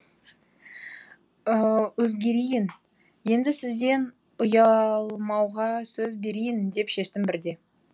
өзгерейін енді сізден ұялмауға сөз берейін деп шештім бірде